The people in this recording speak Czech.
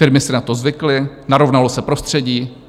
Firmy si na to zvykly, narovnalo se prostředí.